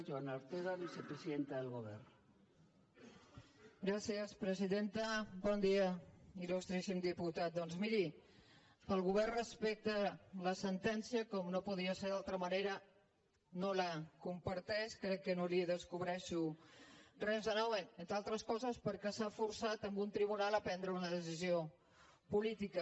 bon dia ilmiri el govern respecta la sentència com no podia ser d’altra manera no la comparteix crec que no li descobreixo res de nou entre altres coses perquè s’ha forçat a un tribunal a prendre una decisió política